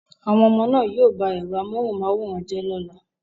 Àwọn ọmọ náà yóò ba ẹ̀rọ amóhùnmáwòrán jẹ́ lọ́la